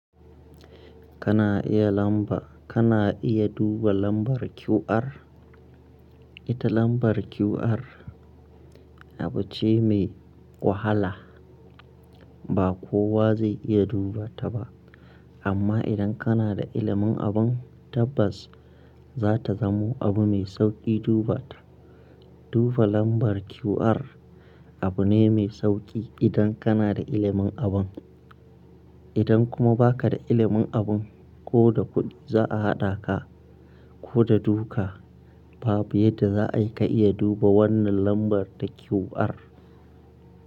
Kana iya lamba, kana iya duba lambar QR. Ita lambar QR abu ce mai wahala. Ba kowa zai iya duba ta ba. Amma idan kana da ilimin abun tabbas za ta zamo abu mai sauƙi duba ta. Duba lambar QR abu ne mai sauƙi idan kana da ilimin abun. Idan kuma ba ka da ilimin abun ko da kuɗi za a haɗa ka ko da duka babu yadda za a yi ka iya duba wannan lambar ta QR.